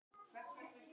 Þetta er fyndið.